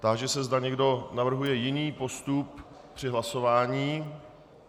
Táži se, zda někdo navrhuje jiný postup při hlasování.